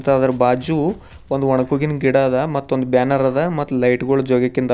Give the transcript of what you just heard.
ಮತ್ ಅದ್ರ ಬಾಜು ಒಂದು ಒಣಕೊಗಿನ್ ಗಿಡ ಆದ ಮತ್ ಒಂದು ಬ್ಯಾನರ್ ಅದ ಮತ್ ಲೈಟ್ ಗಳು ಜೋಗಿಕಿಂದಾವ.